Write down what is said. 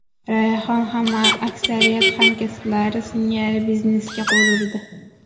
Rayhon ham aksariyat hamkasblari singari biznesga qo‘l urdi.